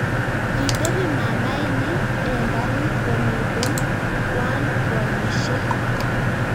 Kitebi mamaenyi eng karit, komiten Kwan koalishe